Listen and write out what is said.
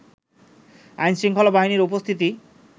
আইনশৃঙ্খলা বাহিনীর উপস্থিতি